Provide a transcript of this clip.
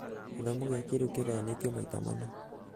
gĩthomo gia kĩrĩu kĩganyanĩtio maita mana.